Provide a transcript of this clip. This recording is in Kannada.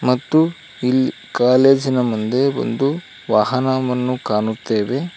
ಮತ್ತು ಇಲ್ ಈ ಕಾಲೇಜಿನ ಮುಂದೆ ಒಂದು ವಾಹನವನ್ನು ಕಾಣುತ್ತೇವೆ.